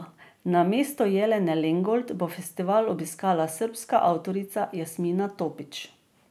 Namesto Jelene Lengold bo festival obiskala srbska avtorica Jasmina Topić.